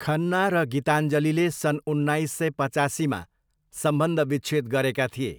खन्ना र गीताञ्जलीले सन् उन्नाइस सय पचासीमा सम्बन्धविच्छेद गरेका थिए।